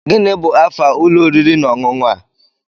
Gịnị bu afe ulo oriri na ọṅụṅụ a?